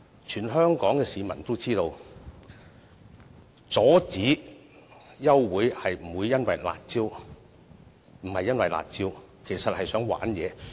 全香港市民都知道，阻止休會待續並非因為"辣招"，而是想"玩嘢"。